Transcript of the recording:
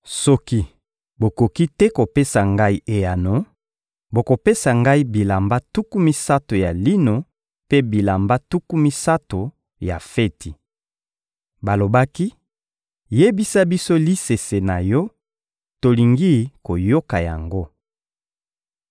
Soki bokoki te kopesa ngai eyano, bokopesa ngai bilamba tuku misato ya lino mpe bilamba tuku misato ya feti. Balobaki: — Yebisa biso lisese na yo, tolingi koyoka yango!